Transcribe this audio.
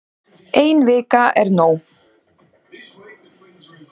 Ein vika er nóg